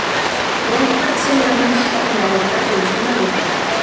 Róbert segir að menn stefni á að berjast um Evrópusæti.